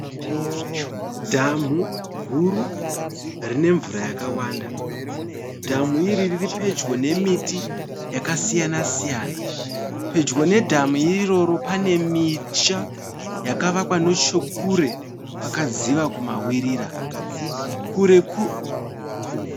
Dhamu guru rine mvura yakawanda. Dhamu iri riri pedyo nemiti yakasiyana siyana. Pedyo nedhamu iroro pane misha yakavakwa nechekure kwakadziva kumavirira.